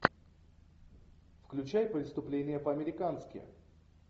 включай преступление по американски